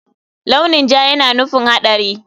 Launi ja yana nufin haɗari.